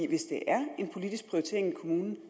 hvis det er en politisk prioritering i kommunen